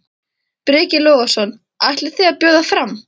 Breki Logason: Ætlið þið að bjóða fram?